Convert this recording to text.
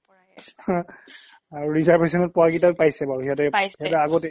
হা আৰু reservation ত পোৱা কেইটাইও পাইছে বাৰু সিহ্তে পাইছে আগতে